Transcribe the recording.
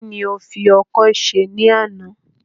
Kí ni o fi ọkọ́ ṣe ní àná?